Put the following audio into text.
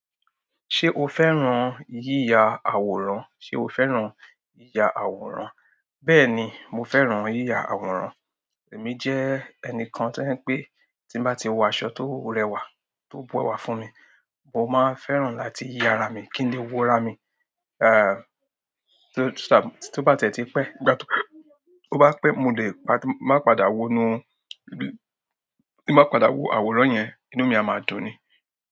Ṣé o fẹ́ràn yíya àwòrán? Ṣé o fẹ́ràn yíya àwòrán? Bẹ́ẹ̀ ni, mo fẹ́ràn yíya àwòrán. Èmi jẹ́ ẹnìkan tó jẹ́ pé tí n bá ti wo aṣọ tó rẹwà, tó bu ẹwà fún mi, mo máa ń fẹ́ràn láti ya ara mi, kí n lè wo ara mi, ehn, tó bá ti ẹ ti pé, tó bá pé mo máa ń padà wo nu, mo máa ń padà wo àwòrán yẹn inú mi a máa dùn ni.